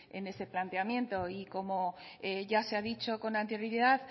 en ese planteamiento y como ya se ha dicho con anterioridad